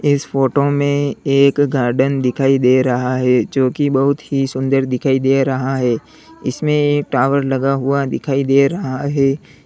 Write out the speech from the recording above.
इस फोटो में एक गार्डन दिखाई दे रहा है जो की बहुत ही सुंदर दिखाई दे रहा है इसमें एक टावर लगा हुआ दिखाई दे रहा है।